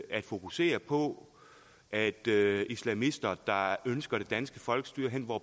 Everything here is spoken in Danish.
at fokusere på at islamister der ønsker det danske folkestyre hen hvor